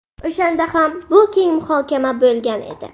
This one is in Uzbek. O‘shanda ham bu keng muhokama bo‘lgan edi.